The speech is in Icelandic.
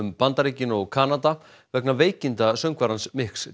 Bandaríkin og Kanada vegna veikinda söngvarans